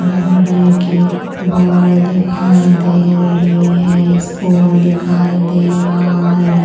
रगड़े की बॉल दिखाई दे रही है स्पून दिखाई दे रहा है।